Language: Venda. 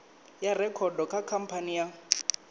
ya rekhodo kha khamphani ya